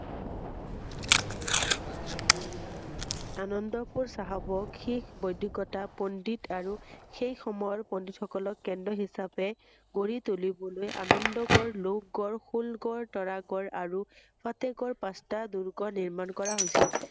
আনন্দপুৰ চাহাবক শেষ বৈদিকতা পন্দিত আৰু সেই সময়ৰ পন্দিতসকলক কেন্দ্ৰ হিচাবে গঢ়ি তুলিবলৈ আনন্দ গড়, লো গড়, শুল গড়, তৰা গড়, আৰু প্ৰত্যকৰ পাচটাঁ দূৰ্গ নিৰ্মাণ কৰা হৈছিল ৷